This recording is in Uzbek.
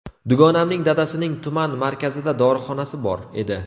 Dugonamning dadasining tuman markazida dorixonasi bor edi.